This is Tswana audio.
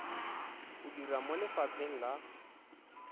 o dira mo lefapheng la